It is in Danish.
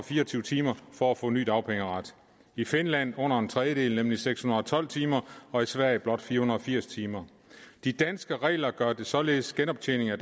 fire og tyve timer for at få ny dagpengeret i finland under en tredjedel nemlig seks hundrede og tolv timer og i sverige blot fire hundrede og firs timer de danske regler gør således genoptjening af